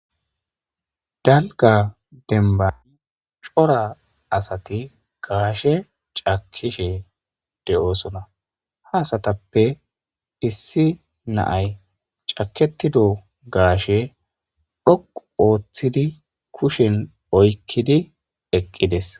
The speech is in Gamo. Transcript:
dalga denbani cora asati gaashe cakishe de'oosona ha asatappe issi naay caketido gaashe dhoqu ooththidi kushen oykkidi eqqides